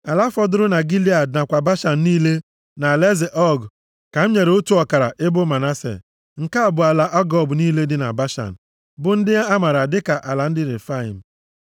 Ala fọdụrụ na Gilead nakwa Bashan niile na alaeze Ọg ka m nyere otu ọkara ebo Manase. Nke a bụ ala Agob niile dị na Bashan, bụ ndị amaara dịka ala ndị Refaim.